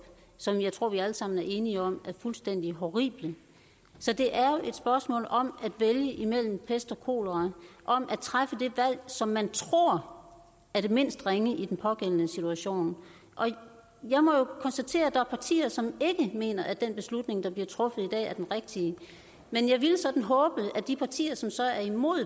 som jeg tror vi alle sammen er enige om er fuldstændig horrible så det er jo et spørgsmål om at vælge imellem pest og kolera om at træffe det valg som man tror er det mindst ringe i den pågældende situation jeg må jo konstatere at der er partier som ikke mener at den beslutning der bliver truffet i dag er den rigtige jeg ville sådan håbe at de partier som så er imod